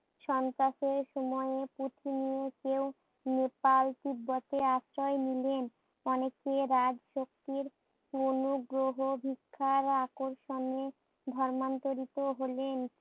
সংকটের সময়ে প্রতিনিয়ত নেপাল তিব্বতে আশ্রয় নিলেন। অনেকে রাজ শক্তির অনুগ্রহ ধিক্কার আকর্ষণে ধর্মান্তরিত হলেন।